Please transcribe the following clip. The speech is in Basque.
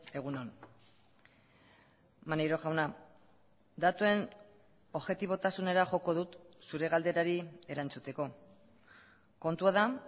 egun on maneiro jauna datuen objetibotasunera joko dut zure galderari erantzuteko kontua da